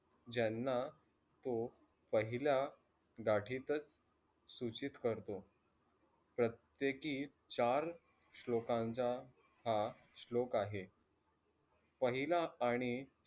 ज्यांना तो पहिल्या गाठीतच सूचित करतो. प्रत्यकी चार श्लोकांचा हा श्लोक आहे. पहिला आणि